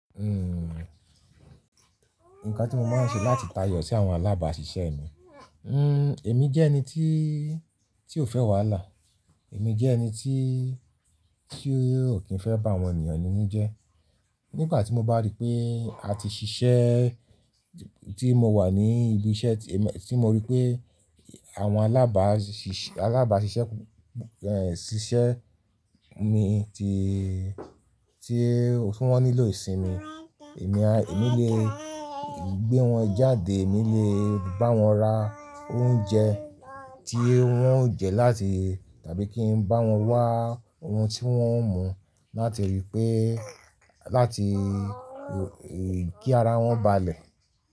Nǹkan tí mo máa ń ṣe láti tayọ sí àwọn alábàṣiṣẹ́ mi, ẹ̀mi jẹ́ ẹni tí, tí ò fẹ́ wàhálà, èmi jẹ́ ẹni tí, tí ò kí ń fẹ́ bá àwọn ènìyàn ni ní jẹ́. Nígbà tí mo bá rí pé a ti ṣiṣẹ́, tí mo wà ní ibi iṣẹ́ tí mo rí pé àwọn alábàṣiṣẹ́, alábàṣiṣẹ́ mi tí, tí wọ́n nílò ìsinmi, èmi le gbé wọn jáde, èmi lè bá wọn ra oúnjẹ tí wọ́n ó jẹ láti tàbí kí n bá wọn wá ohun tí wọ́n ń mu láti rí pé, láti kí ara wọn ba lè.